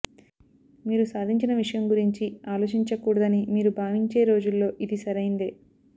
మీరు సాధించిన విషయం గురించి ఆలోచించకూడదని మీరు భావించే రోజుల్లో ఇది సరైందే